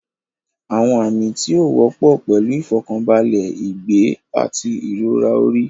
Àwọn àmì tí ó wọ́pọ̀ pẹ̀lú ìfọ̀kànbalẹ̀, ìgbẹ́, àti ìrora orí.